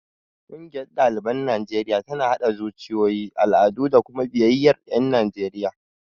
Ƙungiyar ɗaliban Najeriya tana haɗa zuciyoyi, al'adu da kuma biyayyar ƴan Najeriya.